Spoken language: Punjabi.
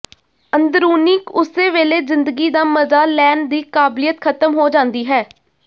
ਅੰਦਰੂਨੀ ਉਸੇ ਵੇਲੇ ਜ਼ਿੰਦਗੀ ਦਾ ਮਜ਼ਾ ਲੈਣ ਦੀ ਕਾਬਲੀਅਤ ਖਤਮ ਹੋ ਜਾਂਦੀ ਹੈ